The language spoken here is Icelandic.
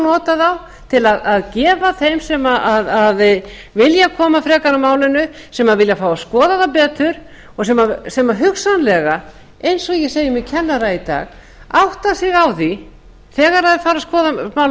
nota þá til að gefa þeim sem vilja koma frekar að málinu sem vilja fá að skoða það betur og sem hugsanlega eins og ég segi með kennara í dag átta sig á því þegar þeir fara að skoða málið